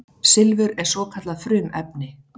Silfur er svokallað frumefni.